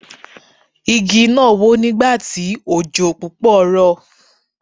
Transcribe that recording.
Igi náà wó nígbà tí òjò púpọ̀ rọ̀.